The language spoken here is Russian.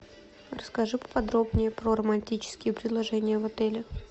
расскажи поподробнее про романтические предложения в отеле